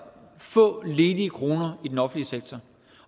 få ledige kroner i den offentlige sektor